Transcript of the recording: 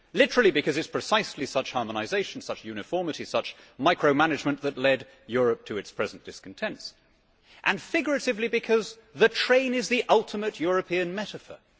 literally because it is precisely such harmonisation, such uniformity, such micromanagement that led Europe to its present discontent, and figuratively because the train is the ultimate European metaphor.